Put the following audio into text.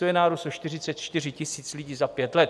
To je nárůst o 44 000 lidí za pět let.